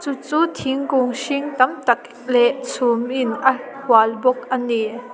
chu thingkung hring tam tak leh chhum in a hual bawk a ni.